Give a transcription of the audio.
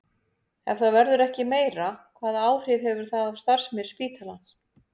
Ef það verður ekki meira, hvaða áhrif hefur það á starfsemi spítalans?